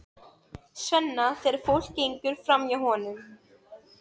Svenna þegar fólk gengur framhjá honum.